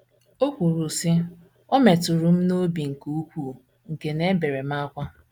O kwuru, sị, “ O metụrụ m n’obi nke ukwuu nke na ebere m ákwá. ”